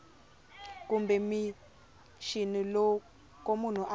kumbe mixini loko munhu a